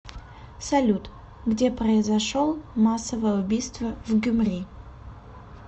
салют где произошел массовое убийство в гюмри